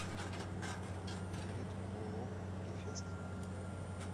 билет ооо гефест